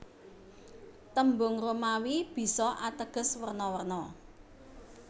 Tembung Romawi bisa ateges werna werna